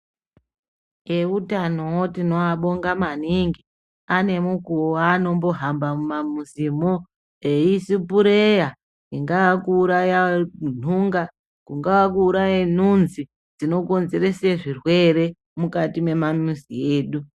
Eutanowo tinowabonga maningi ane mukuho aanombohamba mumamuzimo eisipireya ingaa kuuraya nhunga , kungaa kuuraya nhunzi dzinokonzeresa zvirwere mukati memamuzi edu.